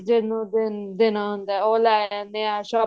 ਜਿਹਨੂੰ ਦੇਣਾ ਹੁੰਦਾ ਉਹ ਲੈ ਆਨੇ ਹਾਂ shopping